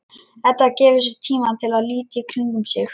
Edda gefur sér tíma til að líta í kringum sig.